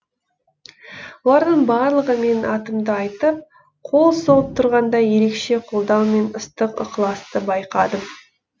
олардың барлығы менің атымды айтып қол соғып тұрғанда ерекше қолдаумен ыстық ықыласты байқадым